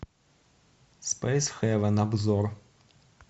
спейс хевен обзор